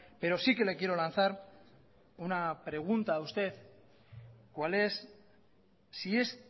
pero sí que le quiero lanzar una pregunta a usted cuál es si es